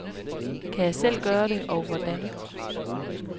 Kan jeg selv gøre det og hvordan.